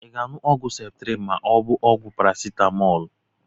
Ị ga-aṅụ ọgwụ ceptrin ma ọ bụ ọgwụ paracitamọọlụ?